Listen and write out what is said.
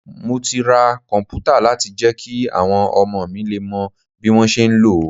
Mo ti ra komputa láti jẹ́ kí àwọn ọmọ mi lè mọ bí wọ́n ṣe ń lò ó.